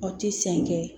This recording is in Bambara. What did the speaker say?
Aw ti sen kɛ